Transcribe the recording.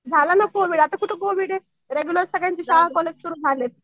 झालं ना आता कोवीड आता कुठं कोविड आहे? रेग्युलर सगळ्यांचे शाळा कॉलेज सुरु झालेत.